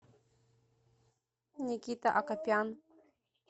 никита акопян